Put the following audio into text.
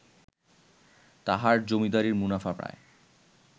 তাঁহার জমীদারীর মুনাফা প্রায়